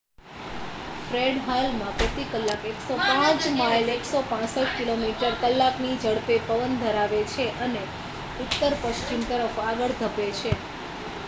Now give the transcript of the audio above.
Fred હાલમાં પ્રતિ કલાક 105 માઇલ 165 કિમી/કની ઝડપે પવન ધરાવે છે અને ઉત્તર-પશ્ચિમ તરફ આગળ ધપે છે